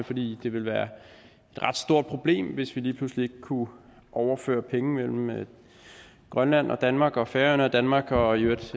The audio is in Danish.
fordi det vil være et ret stort problem hvis vi lige pludselig ikke kunne overføre penge mellem grønland og danmark og færøerne og danmark og i øvrigt